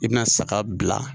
I bɛna saga bila